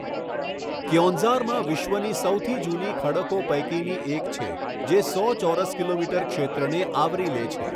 ક્યોંઝારમાં વિશ્વની સૌથી જૂની ખડકો પૈકીની એક છે, જે સો ચોરસ કિમી ક્ષેત્રને આવરી લે છે.